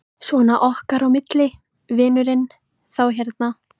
Svona okkar á milli, vinurinn. þá hérna.